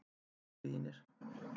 Kæru vinir.